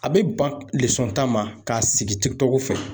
A bɛ ban ta ma k'a sigi tɔgɔ fɛ.